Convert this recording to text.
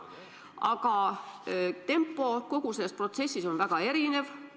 Aga tempo kogu selles protsessis on väga erinev.